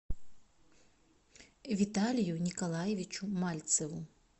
виталию николаевичу мальцеву